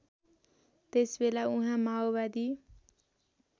त्यसबेला उहाँ माओवादी